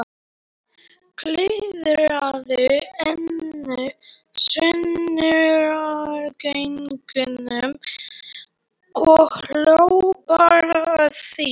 Klúðraði einu sönnunargögnunum og hló bara að því!